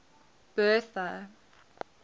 bertha